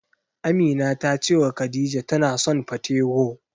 Amina ta cewa Khadija tana son patewo.